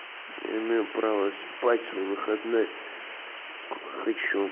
имею право спать в свой выходной сколько хочу